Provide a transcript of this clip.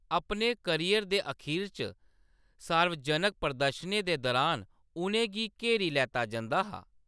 अपने करियर दे अखीर च , सार्वजनक प्रदर्शनें दे दुरान उʼनें गी घेरी लैता जंदा हा।